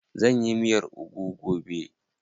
Zan yi miyar ugu gobe.